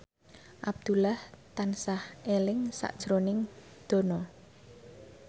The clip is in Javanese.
Abdullah tansah eling sakjroning Dono